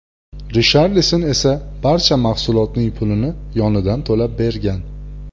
Risharlison esa barcha mahsulotning pulini yonidan to‘lab bergan.